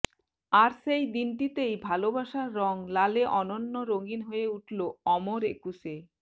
আর সেই দিনটিতেই ভালোবাসার রঙ লালে অনন্য রঙিন হয়ে উঠলো অমর একুশে